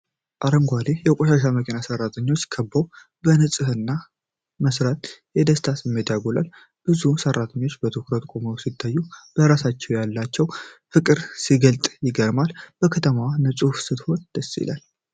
አረንጓዴ የቆሻሻ መኪና ሰራተኞች ከበውት ፣ ለንጽህና መስራት የደስታ ስሜትን ያጎላል። ብዙ ሰራተኞች በትኩረት ቆመው ሲታዩ፣ ለስራቸው ያላቸው ፍቅር ሲገለጥ ይገርማል። ከተማዋ ንጹህ ስትሆን ደስ ይላል።